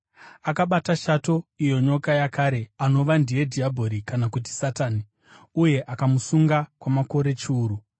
Akabata shato, iyo nyoka yakare, anova ndiye dhiabhori, kana kuti Satani, uye akamusunga kwamakore chiuru.